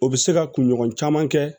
O bɛ se ka kunɲɔgɔn caman kɛ